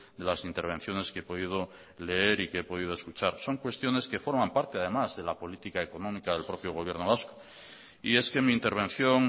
de las intervenciones que he podido leer y que he podido escuchar son cuestiones que forman parte además de la política económica del propio gobierno vasco y es que mi intervención